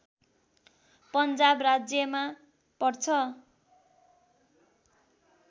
पन्जाब राज्यमा पर्छ